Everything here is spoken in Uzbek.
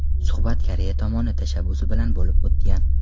Suhbat Koreya tomoni tashabbusi bilan bo‘lib o‘tgan.